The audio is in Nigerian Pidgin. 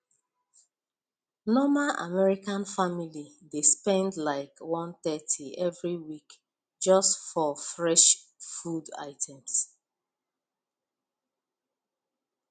normal american family dey spend like 130 every week just for fresh food items